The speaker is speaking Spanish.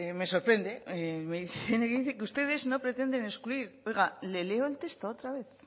me sorprende me dice que ustedes no pretenden excluir oiga le leo el texto otra vez